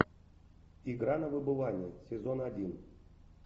игра на выбывание сезон один